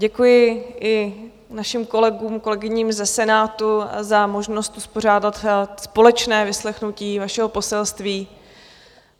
Děkuji i našim kolegům, kolegyním ze Senátu za možnost uspořádat společné vyslechnutí vašeho poselství.